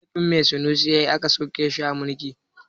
Laifin me sunusi ya yi aka sauke shi a mulki?